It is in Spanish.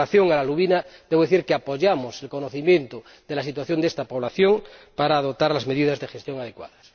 Con relación a la lubina, tengo que decir que abogamos por un mejor conocimiento de la situación de esta población para poder adoptar las medidas de gestión adecuadas.